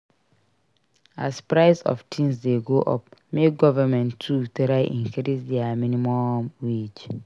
As price of things de go up make government too try increase their minimum wage